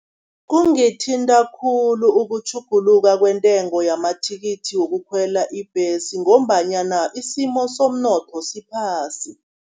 Kungithinta khulu ukutjhuguluka kwentengo yamathikithi wokukhwela ibhesi, ngombanyana isimo somnotho siphasi.